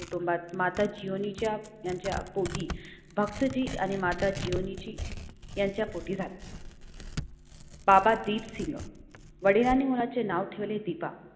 माता जीवनाच्या यांच्या पोटी भक्त जी आणि माता जीवनाची यांच्या पोटी झाला. बाबा दीपसिंग वडिलांनी मुलाचे नाव ठेवले दीपा.